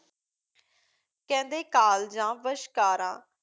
ਕਹਿੰਦੇ ਕਾਲਜਾਂ ਵਸ਼ਕਾਰਾਂ